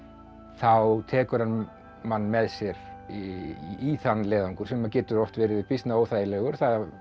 þá tekur hann mann með sér í þann leiðangur sem getur oft verið býsna óþægilegur